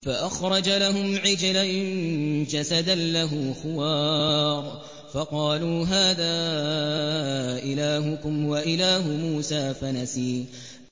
فَأَخْرَجَ لَهُمْ عِجْلًا جَسَدًا لَّهُ خُوَارٌ فَقَالُوا هَٰذَا إِلَٰهُكُمْ وَإِلَٰهُ مُوسَىٰ فَنَسِيَ